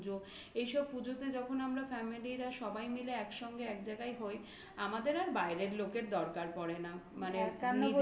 পুজোতে যখন আমরা family রা সবাই মিলে একসঙ্গে এক জায়গায় হই আমাদের আর বাইরের লোকের দরকার পড়ে না. মানে